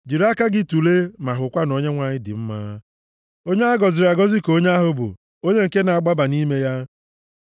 Jiri aka gị tulee ma hụkwa na Onyenwe anyị dị mma; onye a gọziri agọzi ka onye ahụ bụ, onye nke na-agbaba nʼime ya.